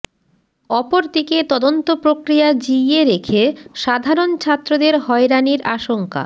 অপরদিকে তদন্ত প্রক্রিয়া জিইয়ে রেখে সাধারণ ছাত্রদের হয়রানির আশঙ্কা